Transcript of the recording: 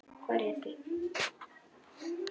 Hvað réði því?